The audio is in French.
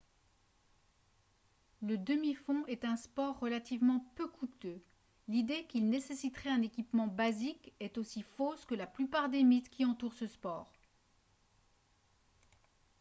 le demi-fond est un sport relativement peu coûteux l'idée qu'il nécessiterait un équipement basique est aussi fausse que la plupart des mythes qui entourent ce sport